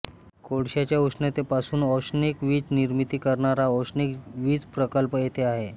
कोळश्याच्या उष्णतेपासून औष्णिक वीज निर्मिती करणारा औष्णिक वीज प्रकल्प येथे आहे